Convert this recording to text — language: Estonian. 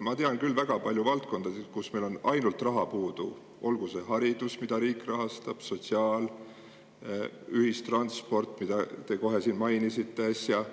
Ma tean küll ainult väga palju valdkondasid, kus meil on raha puudu, olgu see haridus, mida riik rahastab, sotsiaal või ühistransport, mida te siin mainisite äsja –